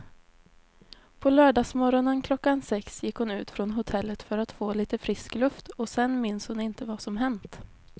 På lördagsmorgonen klockan sex gick hon ut från hotellet för att få lite frisk luft och sen minns hon inte vad som hänt.